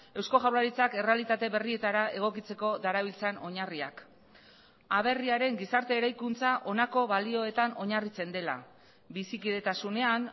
eusko jaurlaritzak errealitate berrietara egokitzeko darabiltzan oinarriak aberriaren gizarte eraikuntza honako balioetan oinarritzen dela bizikidetasunean